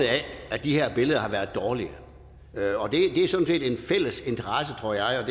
af at de her billeder har været dårlige og det er sådan set en fælles interesse tror jeg